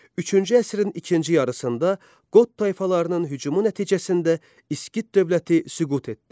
Üçüncü əsrin ikinci yarısında Qot tayfalarının hücumu nəticəsində İskit dövləti süqut etdi.